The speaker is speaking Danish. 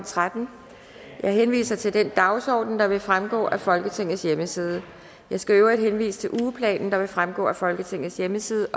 tretten jeg henviser til den dagsorden der vil fremgå af folketingets hjemmeside jeg skal i øvrigt henvise til ugeplanen der vil fremgå af folketingets hjemmeside